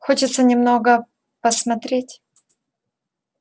хочется немного посмотреть